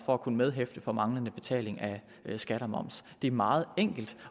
for at kunne medhæfte for manglende betaling af skat og moms det er meget enkelt